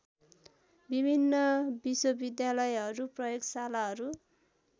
विभिन्न विश्वविद्यालयहरू प्रयोगशालाहरू